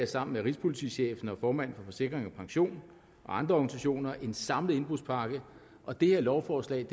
sammen med rigspolitichefen og formanden for forsikring pension og andre organisationer en samlet indbrudspakke og dette lovforslag